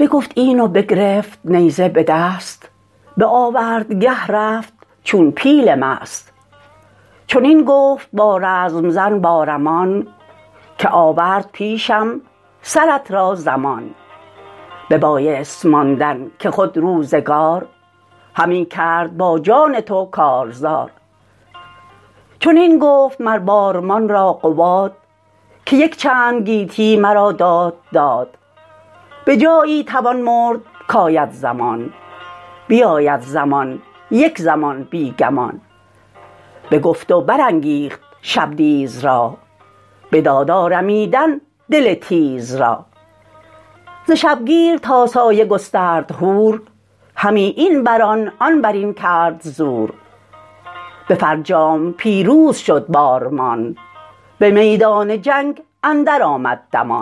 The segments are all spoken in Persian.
سپیده چو از کوه سر برکشید طلایه به پیش دهستان رسید میان دو لشکر دو فرسنگ بود همه ساز و آرایش جنگ بود یکی ترک بد نام او بارمان همی خفته را گفت بیدار مان بیامد سپه را همی بنگرید سراپرده شاه نوذر بدید بشد نزد سالار توران سپاه نشان داد ازان لشکر و بارگاه وزان پس به سالار بیدار گفت که ما را هنر چند باید نهفت به دستوری شاه من شیروار بجویم ازان انجمن کارزار ببینند پیدا ز من دستبرد جز از من کسی را نخوانند گرد چنین گفت اغریرث هوشمند که گر بارمان را رسد زین گزند دل مرزبانان شکسته شود برین انجمن کار بسته شود یکی مرد بی نام باید گزید که انگشت ازان پس نباید گزید پرآژنگ شد روی پور پشنگ ز گفتار اغریرث آمدش ننگ بروی دژم گفت با بارمان که جوشن بپوش و به زه کن کمان تو باشی بران انجمن سرفراز به انگشت دندان نیاید به گاز بشد بارمان تا به دشت نبرد سوی قارن کاوه آواز کرد کزین لشکر نوذر نامدار که داری که با من کند کارزار نگه کرد قارن به مردان مرد ازان انجمن تا که جوید نبرد کس از نامدارانش پاسخ نداد مگر پیرگشته دلاور قباد دژم گشت سالار بسیار هوش ز گفت برادر برآمد به جوش ز خشمش سرشک اندر آمد به چشم از آن لشکر گشن بد جای خشم ز چندان جوان مردم جنگجوی یکی پیر جوید همی رزم اوی دل قارن آزرده گشت از قباد میان دلیران زبان برگشاد که سال تو اکنون به جایی رسید که از جنگ دستت بباید کشید تویی مایه ور کدخدای سپاه همی بر تو گردد همه رای شاه بخون گر شود لعل مویی سپید شوند این دلیران همه ناامید شکست اندرآید بدین رزم گاه پر از درد گردد دل نیک خواه نگه کن که با قارن رزم زن چه گوید قباد اندران انجمن بدان ای برادر که تن مرگ راست سر رزم زن سودن ترگ راست ز گاه خجسته منوچهر باز از امروز بودم تن اندر گداز کسی زنده بر آسمان نگذرد شکارست و مرگش همی بشکرد یکی را برآید به شمشیر هوش بدانگه که آید دو لشگر به جوش تنش کرگس و شیر درنده راست سرش نیزه و تیغ برنده راست یکی را به بستر برآید زمان همی رفت باید ز بن بی گمان اگر من روم زین جهان فراخ برادر به جایست با برز و شاخ یکی دخمه خسروانی کند پس از رفتنم مهربانی کند سرم را به کافور و مشک و گلاب تنم را بدان جای جاوید خواب سپار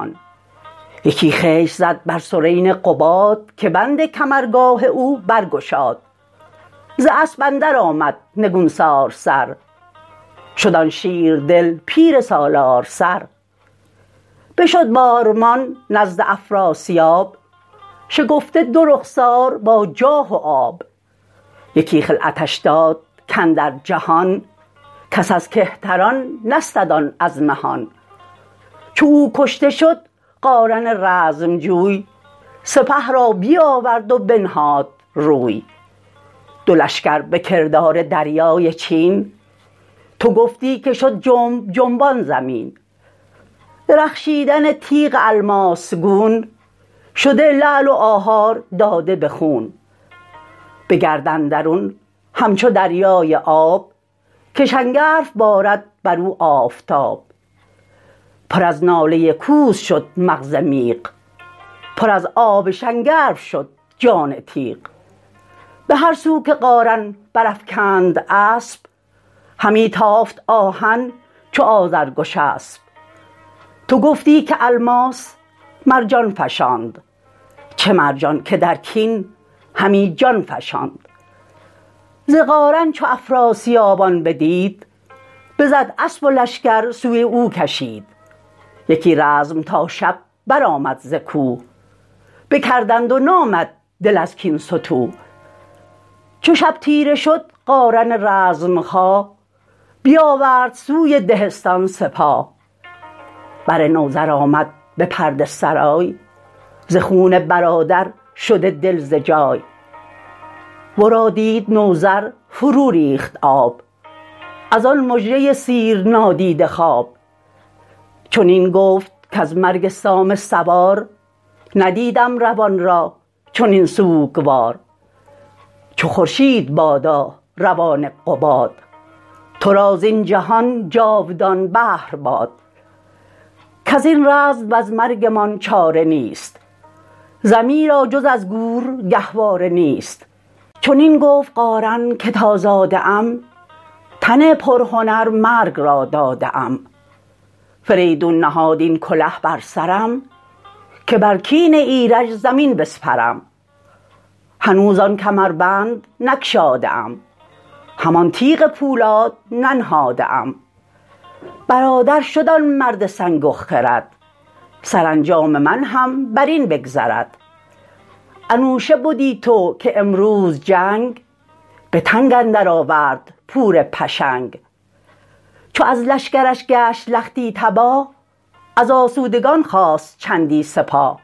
ای برادر تو پدرود باش همیشه خرد تار و تو پود باش بگفت این و بگرفت نیزه به دست به آوردگه رفت چون پیل مست چنین گفت با رزم زن بارمان که آورد پیشم سرت را زمان ببایست ماندن که خود روزگار همی کرد با جان تو کارزار چنین گفت مر بارمان را قباد که یکچند گیتی مرا داد داد به جایی توان مرد کاید زمان بیاید زمان یک زمان بی گمان بگفت و برانگیخت شبدیز را بداد آرمیدن دل تیز را ز شبگیر تا سایه گسترد هور همی این برآن آن برین کرد زور به فرجام پیروز شد بارمان به میدان جنگ اندر آمد دمان یکی خشت زد بر سرین قباد که بند کمرگاه او برگشاد ز اسپ اندر آمد نگونسار سر شد آن شیردل پیر سالار سر بشد بارمان نزد افراسیاب شکفته دو رخسار با جاه و آب یکی خلعتش داد کاندر جهان کس از کهتران نستد آن از مهان چو او کشته شد قارن رزمجوی سپه را بیاورد و بنهاد روی دو لشکر به کردار دریای چین تو گفتی که شد جنب جنبان زمین درخشیدن تیغ الماس گون شده لعل و آهار داده به خون به گرد اندرون همچو دریای آب که شنگرف بارد برو آفتاب پر از ناله کوس شد مغز میغ پر از آب شنگرف شد جان تیغ به هر سو که قارن برافگند اسپ همی تافت آهن چو آذرگشسپ تو گفتی که الماس مرجان فشاند چه مرجان که در کین همی جان فشاند ز قارن چو افراسیاب آن بدید بزد اسپ و لشکر سوی او کشید یکی رزم تا شب برآمد ز کوه بکردند و نامد دل از کین ستوه چو شب تیره شد قارن رزمخواه بیاورد سوی دهستان سپاه بر نوذر آمد به پرده سرای ز خون برادر شده دل ز جای ورا دید نوذر فروریخت آب ازان مژه سیرنادیده خواب چنین گفت کز مرگ سام سوار ندیدم روان را چنین سوگوار چو خورشید بادا روان قباد ترا زین جهان جاودان بهر باد کزین رزم وز مرگمان چاره نیست زمی را جز از گور گهواره نیست چنین گفت قارن که تا زاده ام تن پرهنر مرگ را داده ام فریدون نهاد این کله بر سرم که بر کین ایرج زمین بسپرم هنوز آن کمربند نگشاده ام همان تیغ پولاد ننهاده ام برادر شد آن مرد سنگ و خرد سرانجام من هم برین بگذرد انوشه بدی تو که امروز جنگ به تنگ اندر آورد پور پشنگ چو از لشکرش گشت لختی تباه از آسودگان خواست چندی سپاه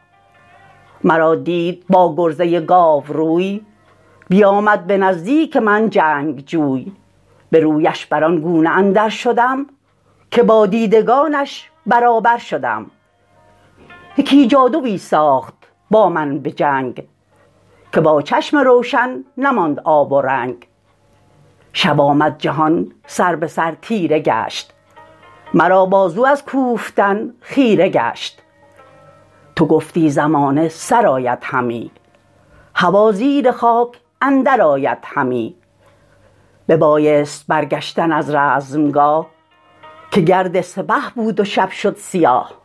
مرا دید با گرزه گاوروی بیامد به نزدیک من جنگجوی به رویش بران گونه اندر شدم که با دیدگانش برابر شدم یکی جادوی ساخت با من به جنگ که با چشم روشن نماند آب و رنگ شب آمد جهان سر به سر تیره گشت مرا بازو از کوفتن خیره گشت تو گفتی زمانه سرآید همی هوا زیر خاک اندر آید همی ببایست برگشتن از رزمگاه که گرد سپه بود و شب شد سیاه